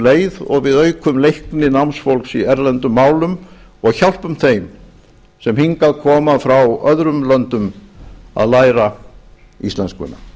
leið og við aukum leikni námsfólks í erlendum málum og hjálpum þeim sem hingað koma frá öðrum löndum að læra íslenskuna